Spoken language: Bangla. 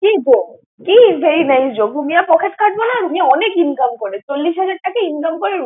কি জক কি very nice joke রুমিয়ার পকেট কাটবো না? রুমিয়া অনেক income করে। চল্লিশ হাজার টাকা income করে।